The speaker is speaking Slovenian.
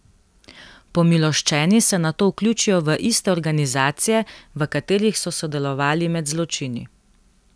Pomiloščeni se nato vključijo v iste organizacije, v katerih so sodelovali med zločini.